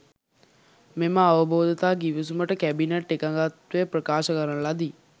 මෙම අවබෝධතා ගිවිසුමට කැබිනට් එකඟත්වය ප්‍රකාශ කරන ලදී.